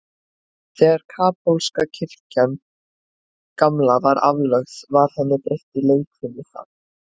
Þegar kaþólska kirkjan gamla var aflögð, var henni breytt í leikfimisal.